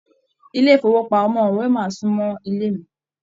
ilé ifowopamọ Wema sunmọ ilé mí.